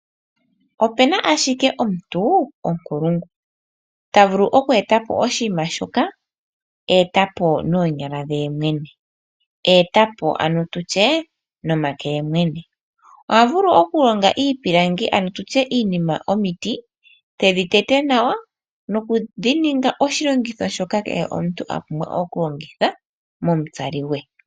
Opu na ashike omuntu onkulungu ta vulu oku eta po oshinima shoka a eta po noonyala dhe mwene, a eta po ano tu tye nomake ge yemwene. Oha vulu okulonga iipilangi ano tu tye iinima momiti, tedhi tete nawa nokudhi ninga oshilongitho shoka kehe omuntu a pumbwa okulongitha momutsali gwe.